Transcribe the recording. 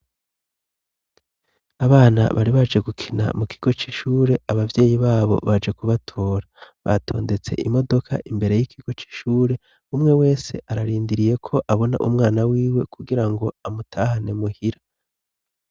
Abana bari baje gukina mu kigo c'ishure abavyeyi babo baje kubatora batondetse imodoka imbere y'ikigo c'ishure umwe wese ararindiriye ko abona umwana wiwe kugira ngo amutahane muhira.